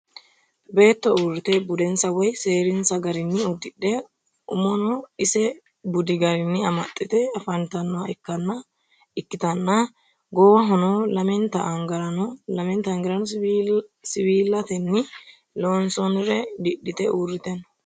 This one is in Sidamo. Beetto uurite budinsa woyi seerinsa garinni udidhe umono isa budi garinni amaxitte afantanoha ikitanna goowahono lammenta angarano siwiilatenni loonsonire didhite uurite no.